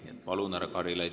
Nii et palun, härra Karilaid!